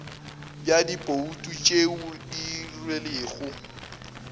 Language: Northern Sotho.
bja dibouto tše di dirilwego